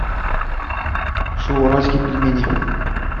шоу уральские пельмени